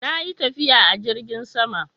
Na yi tafiya a jirgin sama.